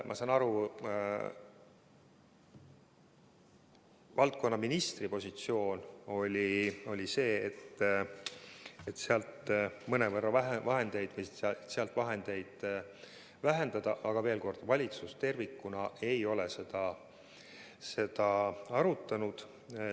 Ma saan aru, et valdkonna eest vastutava ministri positsioon oli selline, et sealseid vahendeid tuleks mõnevõrra vähendada, aga veel kord: valitsus tervikuna ei ole seda teemat arutanud.